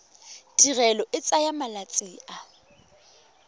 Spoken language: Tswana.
tirelo e tsaya malatsi a